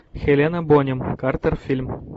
хелена бонем картер фильм